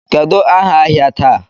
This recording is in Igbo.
Kedụ áhà ahịa taa?